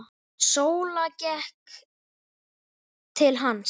Sóla gekk til hans.